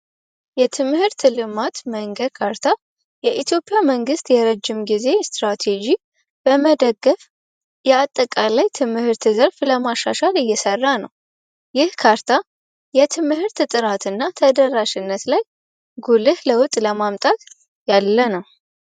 የትምህርት ልማት መንገድ ካርታ የኢትዮጵያ መንግስት የረጅም ጊዜ ስትራቴጂ በመደገፍ የአጠቃላይ ትምህርት ዘርፍ ለማሻሻል እየሰራ ነው ካርታ የትምህርት ጥራትና ተደራሽነት ላይ ለውጥ ለማምጣት ያለ ነው